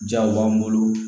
Jaw b'an bolo